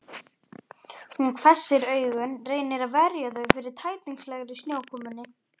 Hún hvessir augun, reynir að verja þau fyrir tætingslegri snjókomunni.